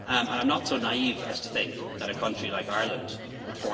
institutions. I am not so naive as to think that a country like